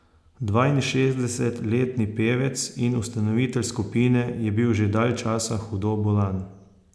Dvainšestdesetletni pevec in ustanovitelj skupine je bil že dalj časa hudo bolan.